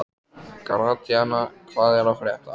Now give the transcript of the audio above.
Gratíana, hvað er að frétta?